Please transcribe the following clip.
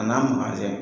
A n'a manjɛ